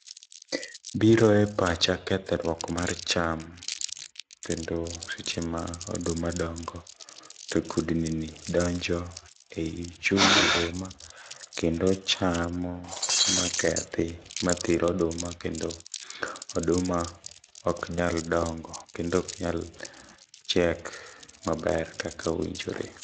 Biro e pacha kethruok mar cham, kendo seche ma oduma dongo to kudni ni donjo ei chuny oduma, kendo chamo makethi, ma thir oduma. Kendo, oduma ok nyal dongo, kendo ok nyal chiek maber kaka owinjore.